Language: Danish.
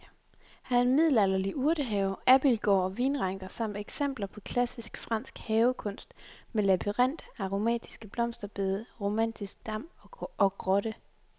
Her er middelalderlig urtehave, abildgård og vinranker samt eksempler på klassisk fransk havekunst med labyrint, aromatiske blomsterbede, romantisk dam og grotte.